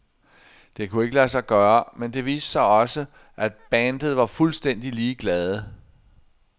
Det kunne ikke lade sig gøre, men det viste sig også, at bandet var fuldstændig ligeglade.